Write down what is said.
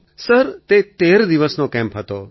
અખિલ sir તે ૧૩ દિવસનો camp હતો